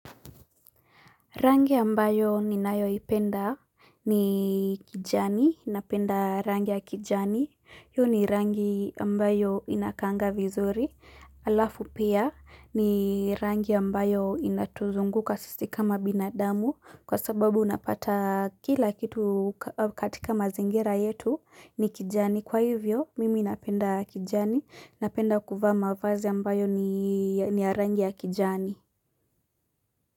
Rangi ambayo ninayoipenda ni kijani, ninapenda rangi ya kijani, yu ni rangi ambayo inakaanga vizuri, alafu pia ni rangi ambayo inatuzunguka sisi kama binadamu kwa sababu unapata kila kitu katika mazingira yetu ni kijani, kwa hivyo mimi napenda kijani, napenda kuvaa mavazi ambayo ni ya ni ya rangi ya kijani.